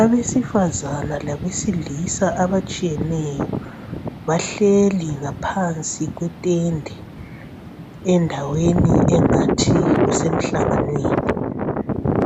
Abesifazana labesilisa abatshiyeneyo bahleli ngaphansi kwetende endaweni engathi kusemhlanganweni